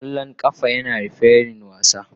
Kwallon kafa yana da refirin wasa.